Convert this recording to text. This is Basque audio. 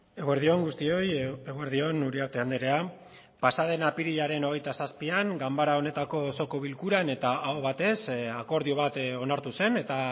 eguerdi on guztioi eguerdi on uriarte andrea pasaden apirilaren hogeita zazpian ganbara honetako osoko bilkuran eta aho batez akordio bat onartu zen eta